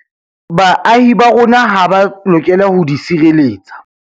Baahi ba rona ha ba lokela ho di sireletsa.